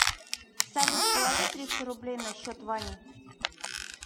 салют положи триста рублей на счет вани